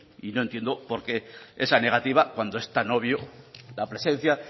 y no entiendo por qué esa negativa cuando es tan obvio la presencia